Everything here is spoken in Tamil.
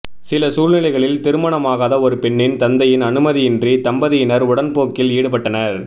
சில சூழ்நிலைகளில் திருமணமாகாத ஒரு பெண்ணின் தந்தையின் அனுமதியின்றி தம்பதியினர் உடன்போக்க்கில் ஈடுப்பட்டனர்